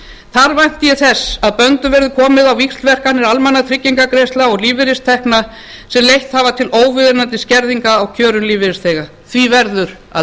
þar vænti ég þess að böndum verði komið á víxlverkanir almannatryggingagreiðslna og lífeyristekna sem leitt hafa til óviðunandi skerðinga á kjörum lífeyrisþega því verður að